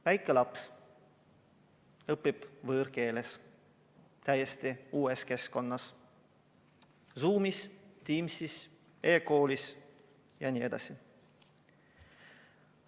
Väike laps õpib võõrkeeles, täiesti uues keskkonnas: Zoomis, Teamsis, e-koolis ja nii edasi.